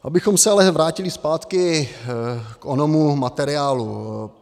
Abychom se ale vrátili zpátky k onomu materiálu.